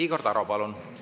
Igor Taro, palun!